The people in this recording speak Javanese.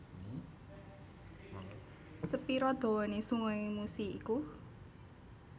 Sepiro dowone sungai Musi iku?